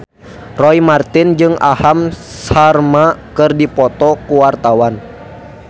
Roy Marten jeung Aham Sharma keur dipoto ku wartawan